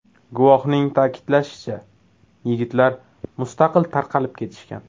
Guvohning ta’kidlashicha, yigitlar mustaqil tarqalib ketishgan.